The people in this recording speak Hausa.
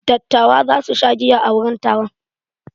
Dattawa za su sha giya a wurin taron.